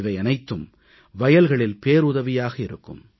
இவையனைத்தும் வயல்களில் பேருதவியாக இருக்கும்